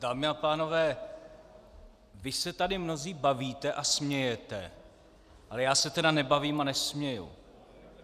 Dámy a pánové, vy se tady mnozí bavíte a smějete, ale já se tedy nebavím a nesměji.